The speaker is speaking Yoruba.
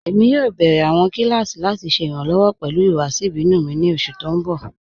Ẹ̀mi yóò bẹ̀rẹ̀ awọn kilasí lati ṣẹ iranlọ́wọ pẹlu ihuwasi ibinu mi ni oṣù tí n bọ̀.